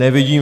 Nevidím.